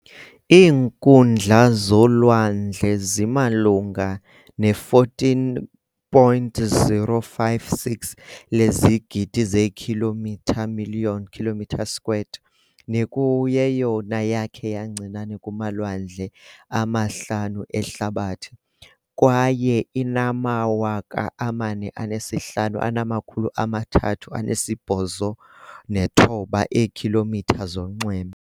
Iinkundla zolwandle zimalunga ne14.056 lezigidi zeekhilomitha million km 2, nekuyeyona yakhe yancinane kumalwandle ama-5 ehlabathi, kwaye inama-45389 eekm zonxweme.